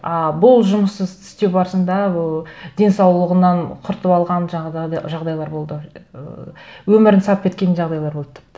а бұл жұмысты істеу барысында ы денсаулығынан құртып алған жағдайлар болды ыыы өмірін сарп еткен жағдайлар болды тіпті